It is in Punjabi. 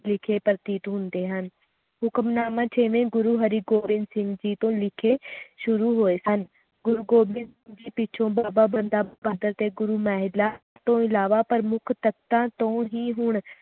ਵਿਖੇ ਪ੍ਰਤੀਤ ਹੁੰਦੇ ਹਨ ਹੁਕਮਨਾਨ ਛੇਵੇਂ ਗੁਰੂ ਹਰਗੋਬਿੰਦ ਸਿੰਘ ਜੀ ਤੋਂ ਲਿਖੇ ਸ਼ੁਰੂ ਹੋਏ ਸਨ ਗੁਰੂ ਗੋਬਿੰਦ ਸਿੰਘ ਜੀ ਪਿੱਛੋਂ ਬਾਬਾ ਬੰਦਾ ਬਹਾਦਰ ਤੇ ਗੁਰੂ ਮੇਲਾ ਤੋਂ ਅਲਾਵਾ ਪ੍ਰਮੁੱਖ ਤਖਤਾਂ ਤੋਂ ਹੀ ਹੁਣ